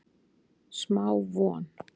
Smá von